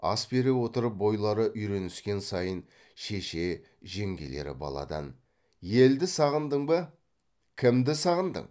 ас бере отырып бойлары үйреніскен сайын шеше жеңгелері баладан елді сағындың ба кімді сағындың